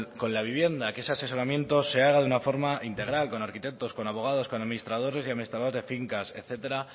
con la vivienda que ese asesoramiento se haga de una forma integral con arquitectos con abogados con administradores y administradoras de fincas etcétera